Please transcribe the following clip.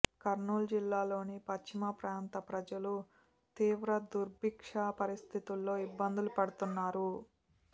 కర్నూలు జిల్లాలోని పశ్చిమ ప్రాంత ప్రజలు తీవ్ర దుర్భిక్ష పరిస్థితులతో ఇబ్బందులు పడుతున్నారు